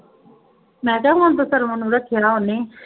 ਮੈਂ ਕਿਹਾ ਹੁਣ ਤਾਂ ਸਰਵਣ ਨੂੰ ਰੱਖਿਆ ਉਹਨੇ